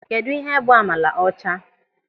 Kedụ ịhe bụ amala ọcha?